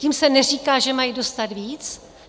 Tím se neříká, že mají dostat víc.